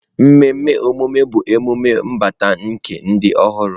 Mmemme ọmụmụ bụ emume mbata nke ndụ ọhụrụ.